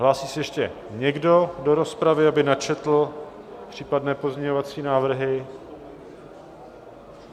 Hlásí se ještě někdo do rozpravy, aby načetl případné pozměňovací návrhy?